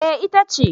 Eh ita ce